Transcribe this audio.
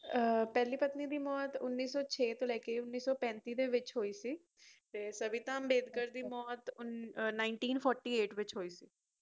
ਪਹਿਲੀ ਪਤਨੀ ਦੀ ਮੌਤ ਉੱਨੀ ਸੋ ਛੇ ਤੋ ਲੈਕੇ ਉੱਨੀ ਸੌ ਪੈਂਤੀ ਦੇ ਵਿੱਚ ਹੋਈ ਸੀ ਤੇ ਸਵਿਤਾ ਅੰਬੇਡਕਰ ਦੀ ਮੌਤ ਉੱਨੀ ਸੌ ਅਤਾਲੀ ਵਿੱਚ ਹੋਇ ਸੀ